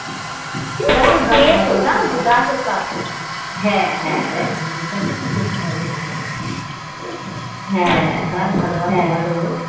কিন্তু খুউব তেতো যেন তো গাছের পাতা জানতো গাছের পাতা হা হা হা হা হা হা